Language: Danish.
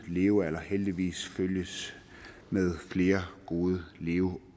levealder heldigvis følges med flere gode leveår